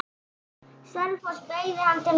Selfoss beygði hann til hægri.